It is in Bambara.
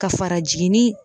Ka fara jiginni